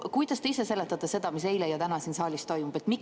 Kuidas te ise seletate seda, mis on eile ja täna siin saalis toimunud?